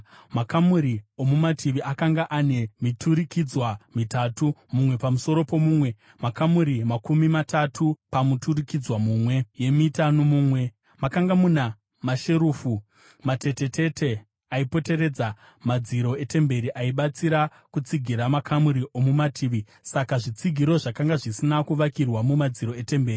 Makamuri omumativi akanga ane miturikidzwa mitatu, mumwe pamusoro pomumwe, makamuri makumi matatu pamuturikidzwa mumwe nomumwe. Makanga muna masherufu matetetete aipoteredza madziro etemberi aibatsira kutsigira makamuri omumativi, saka zvitsigiro zvakanga zvisina kuvakirwa mumadziro etemberi.